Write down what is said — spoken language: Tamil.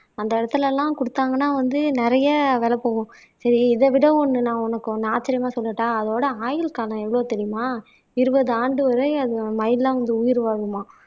அந்த இடத்துல எல்லாம் கொடுத்தாங்கன்னா வந்து நிறைய விலை போகும் சரி இதை விட ஒண்ணு நான் உனக்கு ஒண்ணு ஆச்சரியமா சொல்லட்டா அதோட ஆயுள் காலம் எவ்வளவு தெரியுமா இருபது ஆண்டு வரை அது மயில்லாம் வந்து உயிர் வாழுமாம்